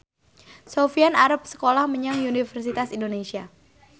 Sofyan arep sekolah menyang Universitas Indonesia